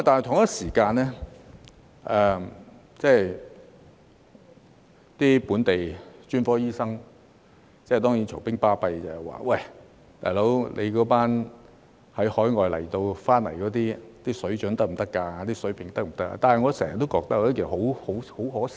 同一時間，本地專科醫生當然會吵吵嚷嚷，說海外返港醫生的水準及水平能否得到保證。